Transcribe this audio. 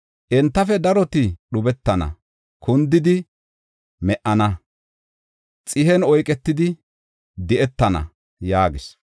Entafe daroti dhubetana; kundidi me77ana; xihen oyketidi di7etana” yaagis.